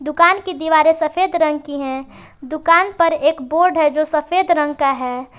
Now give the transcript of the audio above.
दुकान की दीवारे सफेद रंग की है दुकान पर एक बोर्ड है जो सफेद रंग का है।